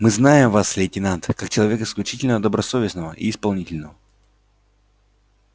мы знаем вас лейтенант как человека исключительно добросовестного и исполнительного